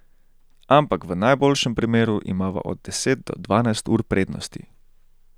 Ampak v najboljšem primeru imava od deset do dvanajst ur prednosti.